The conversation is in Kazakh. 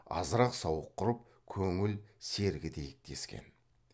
азырақ сауық құрып көңіл сергітейік дескен